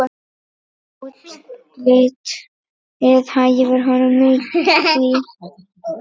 Útlitið hæfir honum því.